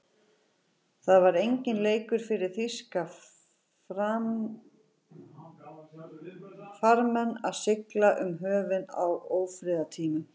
Það var enginn leikur fyrir þýska farmenn að sigla um höfin á ófriðartímum.